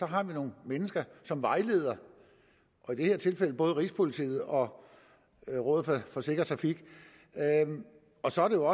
har vi nogle mennesker som vejleder i det her tilfælde både rigspolitiet og rådet for sikker trafik så er det